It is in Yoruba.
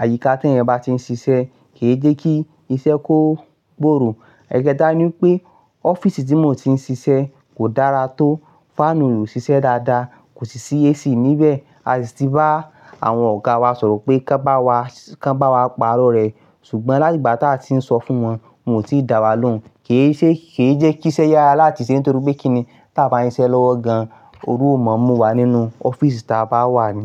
àyíká tè èyàn bá ti ń ṣiṣẹ́ kì í jẹ́ kí iṣẹ́ kó gbòòrò. Ẹ̀kẹta ni pé ọ́fíìsì tí mo ti ń ṣiṣẹ́ kò dára tó, fáànù ò ń ṣiṣẹ́ dáadáa, kò sì sí AC níbẹ̀. A sì ti bá àwọn ọ̀gá wa sọ̀rọ̀ pé kó bá wa, kò bá wa pàró rẹ̀ ṣùgbọ́n láti ìgbà tí a ti ń sọ fún wọn, wọ́n ò tíì dá wa lóhùn. Kì í ṣe, kì í jẹ́ kí iṣẹ́ yára láti ṣe nítorí pé kíni ta bá ń ṣe lọ́wọ́ gan-an, oru ò máa mú wa nínú ọ́fíìsì ta bá wà ni.